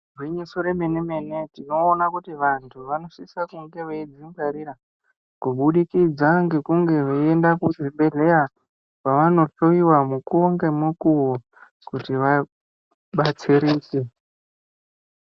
Gwinyiso remene-mene tinoona vantu vanosisa kunge veidzingwarira kubudikidza kekunge veienda kuzvibhedhleya kwavanohloiwa mukuwo ngemukuwo kuti vabatsirike.